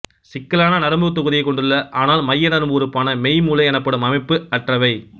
சிக்கலான நரம்புத்தொகுதியைக் கொண்டுள்ளன ஆனால் மைய நரம்பு உறுப்பான மெய் மூளை எனப்படும் அமைப்பு அற்றவை